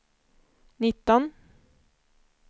nitton